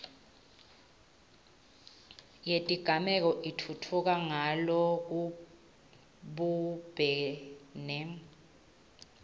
yetigameko itfutfuka ngalokubumbene